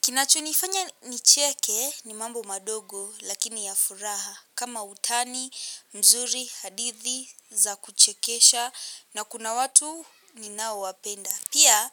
Kinachonifanya nicheke ni mambo madogo lakini ya furaha kama utani, mzuri, hadithi za kuchekesha na kuna watu ninaowapenda. Pia